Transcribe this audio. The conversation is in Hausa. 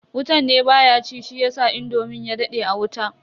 Wutan ne baya ci shiyasa indomin ya dade a wuta.